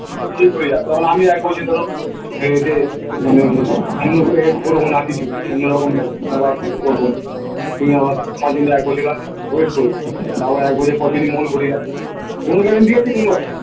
ঠিক ঘুরে যাবে তখন আমিও এক বয়েসে ধরো খেয়ে টেয়ে মানে আমিও এ করবোনা কিছু অন্যরকম ব্যাপার কিছু করবোনা তুমি আমার তোমার জন্যে এক বছর আমি wait করবো তাও আবার এক বছর পর যদি মন ঘুরে যায় কোনো guarantee আছে